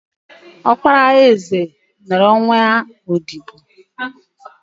Ọkpara eze nụrụ nwa odibo